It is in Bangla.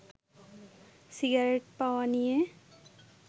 সিগারেট পাওয়া নিয়ে